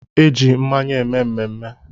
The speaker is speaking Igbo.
Eji mmanya eme mmemme.